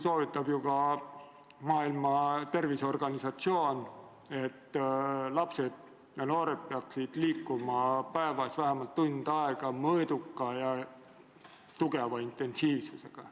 Soovitab ju ka Maailma Terviseorganisatsioon, et lapsed ja noored peaksid liikuma päevas vähemalt tund aega mõõduka ja tugeva intensiivsusega.